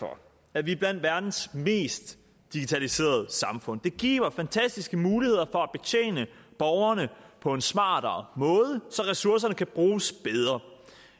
for at vi er blandt verdens mest digitaliserede samfund det giver fantastiske muligheder for at betjene borgerne på en smartere måde så ressourcerne kan bruges bedre